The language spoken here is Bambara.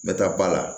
N bɛ taa ba la